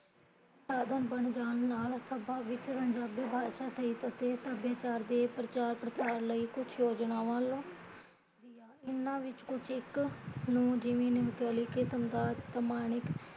ਆਦਮ ਬਣ ਜਾਣ ਨਾਲ਼ ਸਭਾ ਵਿੱਚ ਬਾਸ਼ਾ ਸਹਿਤ ਸਭਿਆਚਾਰ ਦੇ ਪ੍ਰਚਾਰ ਪ੍ਰਸਾਰਣ ਕਰਨ ਲਈ ਕੁਜ ਯੋਜਨਾਵਾਂ ਵੱਲ ਇਹਨਾਂ ਵਿੱਚੋਂ ਕੁਜ ਇੱਕ ਨੂ ਜਿਵੇ ਨਵਕਲੀ ਕਿਸਮ ਦਾ ਸਮਾਨਿਕ